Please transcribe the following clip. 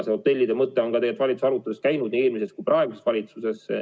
See hotellide mõte on tegelikult ka valitsuse aruteludes läbi käinud, nii eelmises kui ka praeguses valitsuses.